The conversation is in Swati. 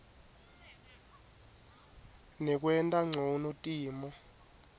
nekwenta ncono timo